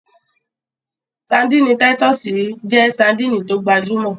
Ṣadínnì táyítọ́sì jẹ́ ṣadínnì tó gbajúmọ̀